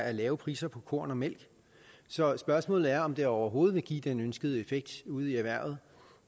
er lave priser på korn og mælk så spørgsmålet er om det overhovedet vil give den ønskede effekt ude i erhvervet